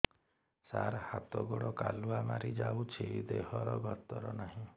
ସାର ହାତ ଗୋଡ଼ କାଲୁଆ ମାରି ଯାଉଛି ଦେହର ଗତର ନାହିଁ